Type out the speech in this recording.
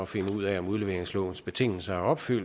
finde ud af om udleveringslovens betingelser er opfyldt